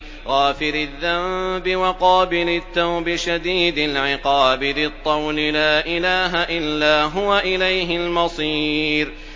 غَافِرِ الذَّنبِ وَقَابِلِ التَّوْبِ شَدِيدِ الْعِقَابِ ذِي الطَّوْلِ ۖ لَا إِلَٰهَ إِلَّا هُوَ ۖ إِلَيْهِ الْمَصِيرُ